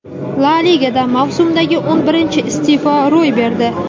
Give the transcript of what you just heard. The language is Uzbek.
La Ligada mavsumdagi o‘n birinchi isteʼfo ro‘y berdi.